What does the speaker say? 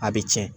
A bɛ tiɲɛ